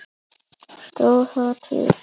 Stóð það til?